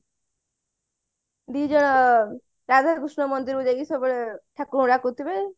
ଦି ଜଣ ରାଧା କୃଷ୍ଣ ମନ୍ଦିର କୁ ସେମାନେ ଠାକୁରଙ୍କୁ ଡାକୁଥିବେ